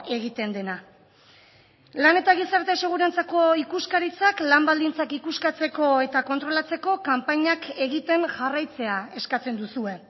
egiten dena lan eta gizarte segurantzako ikuskaritzak lan baldintzak ikuskatzeko eta kontrolatzeko kanpainak egiten jarraitzea eskatzen duzue